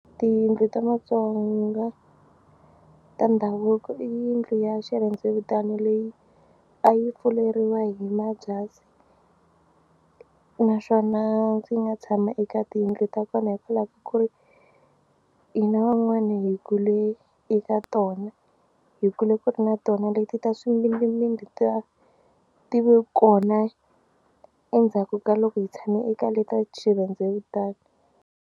Tiyindlu ta Vatsonga ta ndhavuko i yindlu ya swirhendzevutana leyi a yi fuleriwa hi mabyasi naswona ndzi nga tshama eka tiyindlu ta vona hikwalaho ka ku ri hina van'wana hi kule eka tona hi kule ku ri na tona leti ta swimbindzimbindzi ta ti ve kona endzhaku ka loko hi tshame eka leta xirhendzevutani.